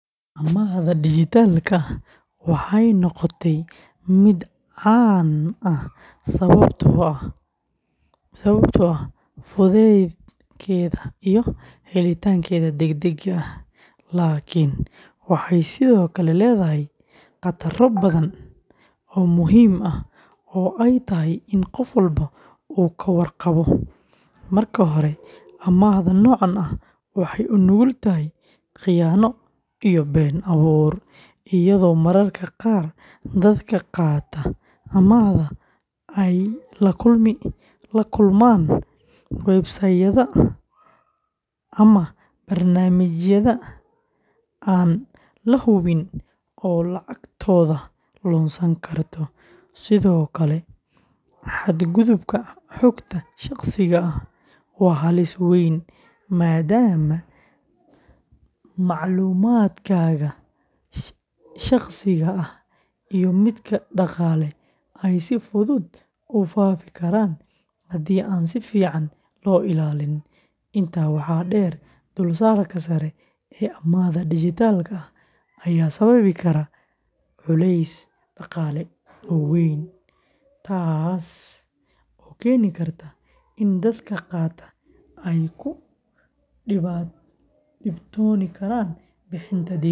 Amaahda dijitaalka ah waxay noqotay mid caan ah sababtoo ah fudeydkeeda iyo helitaankeeda degdega ah, laakiin waxay sidoo kale leedahay khataro badan oo muhiim ah oo ay tahay in qof walba uu ka warqabo. Marka hore, amaahda noocan ah waxay u nugul tahay khiyaano iyo been abuur, iyadoo mararka qaar dadka qaata amaahda ay la kulmaan website-yada ama barnaamijyada aan la hubin oo lacagtooda lunsan karto. Sidoo kale, xadgudubka xogta shaqsiga ah waa halis weyn, maadaama macluumaadkaaga shaqsiga ah iyo midka dhaqaale ay si fudud u faafi karaan haddii aan si fiican loo ilaalin. Intaa waxaa dheer, dulsaarka sare ee amaahda dijitaalka ah ayaa sababi kara culays dhaqaale oo weyn, taas oo keeni karta in dadka qaata ay ku dhibtoon karaan bixinta deynta.